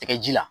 Tɛgɛ ji la